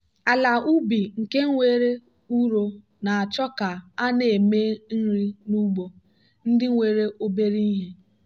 ala ubi nke nwere ụrọ na-achọ ka a na-eme nri n'ugbo ndị nwere obere ihe.